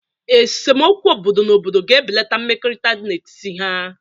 Esemokwu obodo na obodo ga-ebeleta mmekọrịta n'etiti ha.